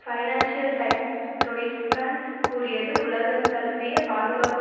financial Times Deutschland கூறியது உலகந்தழுவிய பாதுகாப்பு